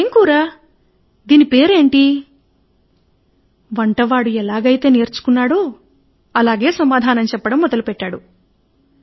ఇది ఏమి కూర దీని పేరు ఏమిటి ఎలాగైతే నేర్చుకున్నాడో అలాగే వంటవాడు సమాధానమిచ్చాడు